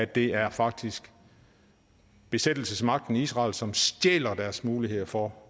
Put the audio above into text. det er faktisk besættelsesmagten israel som stjæler deres muligheder for